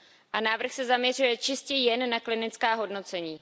A návrh se zaměřuje čistě jen na klinická hodnocení.